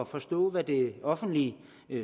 forstå hvad det offentlige